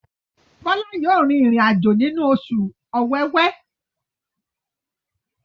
Bola yóò rìn irin-ajo nínú Oṣù Ọ̀wẹwẹ.